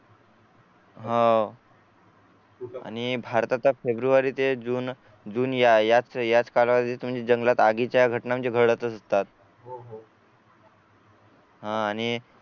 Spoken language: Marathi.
आह आणि भारताचा फेब्रुवारी ते जून जून याच याच कालावधीमध्ये कालावधीत म्हणजे जंगलात आगीच्या घटना म्हणजे घडतच असतात हा आणि